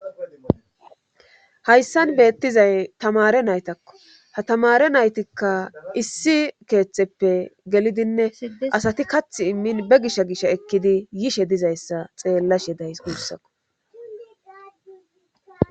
Hayssan beettizay tamare naytakko ha tamare naytikka issi keeththeppe gelidinne asati kath immin be gisha gish ekkidi yishe dizayssa xeellashedays guussako.